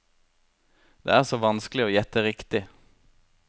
Det er så vanskelig å gjette riktig.